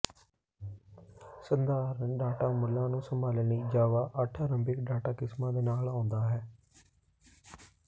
ਸਧਾਰਨ ਡਾਟਾ ਮੁੱਲਾਂ ਨੂੰ ਸੰਭਾਲਣ ਲਈ ਜਾਵਾ ਅੱਠ ਆਰੰਭਿਕ ਡਾਟਾ ਕਿਸਮਾਂ ਦੇ ਨਾਲ ਆਉਂਦਾ ਹੈ